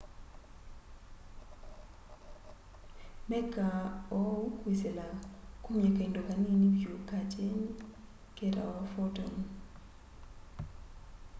mekaa ũũ kwĩsĩla kũmya kaĩndo kanĩnĩ vyũ ka kyenĩ ketawa photon